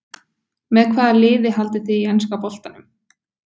Með hvaða liði haldið þið í enska boltanum?